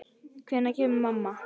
Hvenær kemur mamma?